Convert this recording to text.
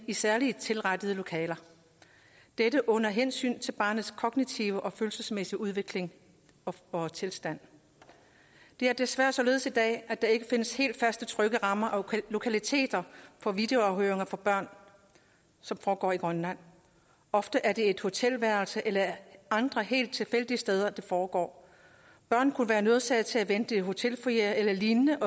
i særligt tilrettede lokaler dette under hensyn til barnets kognitive og følelsesmæssige udvikling og tilstand det er desværre således i dag at der ikke findes helt faste trygge rammer og lokaliteter for videoafhøringer af børn som foregår i grønland ofte er det et hotelværelse eller andre helt tilfældige steder det foregår børn kunne være nødsaget til at vente i hotelfoyerer eller lignende